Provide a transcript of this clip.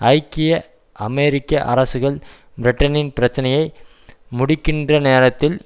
ஐக்கிய அமெரிக்க அரசுகள் பிரிட்டனின் பிரச்சனையை முடிக்கின்றநேரத்தில்